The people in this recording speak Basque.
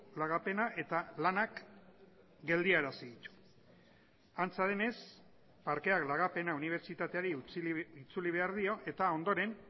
lagapena eta lanak geldiarazi antza denez parkeak lagapena unibertsitateari itzuli behar dio eta ondoren